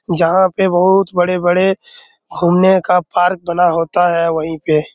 जहाँ पे बहुत बड़े-बड़े घुमने का पार्क बना होता है वही पे।